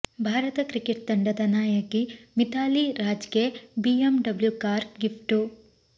Bharat cricket ತಂಡದ ನಾಯಕಿ ಮಿಥಾಲಿ ರಾಜ್ಗೆ ಬಿಎಂಡಬ್ಲು ಕಾರು ಗಿಫ್ಟ್